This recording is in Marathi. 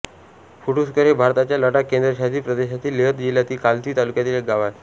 फुटुस्कर हे भारताच्या लडाख केंद्रशासित प्रदेशातील लेह जिल्हातील खालसी तालुक्यातील एक गाव आहे